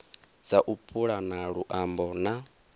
dza u pulana luambo na